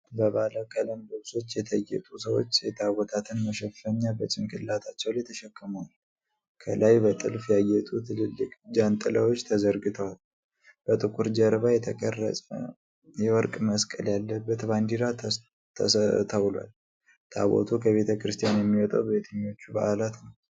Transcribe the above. በባለ ቀለም ልብሶች የተጌጡ ሰዎች የታቦታትን መሸፈኛ በጭንቅላታቸው ላይ ተሸክመዋል። ከላይ በጥልፍ ያጌጡ ትልልቅ ጃንጥላዎች ተዘርግተዋል። በጥቁር ጀርባ የተቀረጸ የወርቅ መስቀል ያለበት ባንዲራ ተስተውሏል። ታቦቱ ከቤተ ክርስቲያን የሚወጣው በየትኞቹ በዓላት ነው?